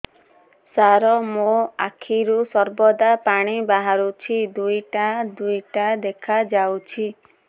ସାର ମୋ ଆଖିରୁ ସର୍ବଦା ପାଣି ବାହାରୁଛି ଦୁଇଟା ଦୁଇଟା ଦେଖାଯାଉଛି